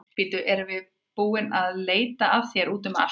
Bíddu, við erum búin að vera að leita að þér úti um allt.